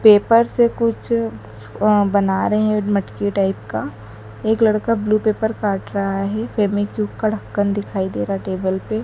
paper से कुछ अ बना रहे हैं मटकी टाइप का एक लड़का ब्लू पेपर काट रहा है फेमीक्विक का ढक्कन दिखाई दे रहा टेबल पे --